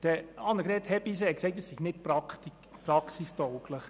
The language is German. Grossrätin Hebeisen hat gesagt, es sei nicht praxistauglich.